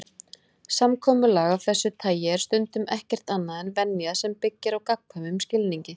Samkomulag af þessu tagi er stundum ekkert annað en venja sem byggir á gagnkvæmum skilningi.